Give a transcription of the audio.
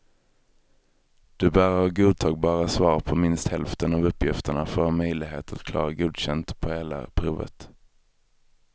Du bör ha godtagbara svar på minst hälften av uppgifterna för att ha möjlighet att klara godkänd på hela provet.